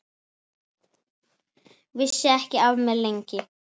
Vissi ekki af mér, lengi.